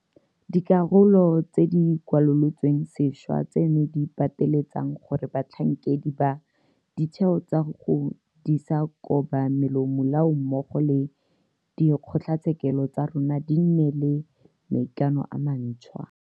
Dikarolo tse di kwalolotsweng sešwa tseno di pateletsang gore batlhankedi ba ditheo tsa go disa kobamelomo lao mmogo le dikgotlatshekelo tsa rona di nne le maikano a mantšhwa.